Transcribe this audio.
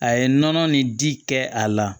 A ye nɔnɔ ni ji kɛ a la